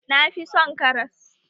Na fi son karas